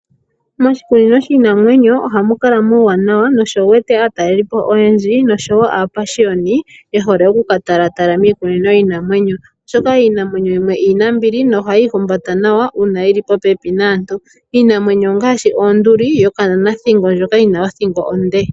Moshikunino shiinamwenyo ohamu kala muuwanawa nosho wu wete aatalelipo oyendji noshowo aapashiyoni ye hole okuka talatala miikunino yiinamwenyo, oshoka iinamwenyo yimwe iinambili nohayi ihumbata nawa uuna yili popepi naantu. Iinamwenyo ongaashi onduli yokananathingo ndjoka yina othingo onde